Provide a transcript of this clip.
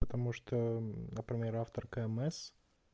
потому что например автор кмс